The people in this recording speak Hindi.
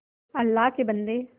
अल्लाह के बन्दे